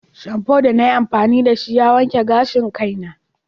Shamfu da na yi amfani da shi ya yanke gashin kaina.